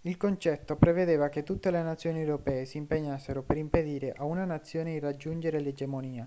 il concetto prevedeva che tutte le nazioni europee si impegnassero per impedire a una nazione di raggiungere l'egemonia